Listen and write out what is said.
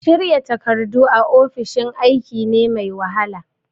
Shirya takardu a ofishin aiki ne mai wahala.